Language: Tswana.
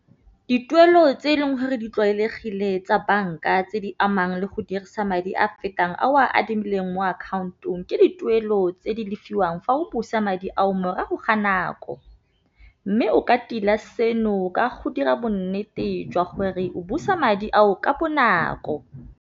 Dituelo tse e leng gore di tlwaelegile tsa banka tse di amang le go dirisa madi a fetang a o a adimileng mo account-ong, ke dituelo tse di lefiwang fa o busa madi ao morago ga nako. Mme o ka tila seno ka go dira bonnete jwa gore o busa madi ao ka bonako.